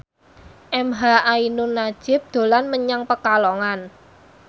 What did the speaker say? emha ainun nadjib dolan menyang Pekalongan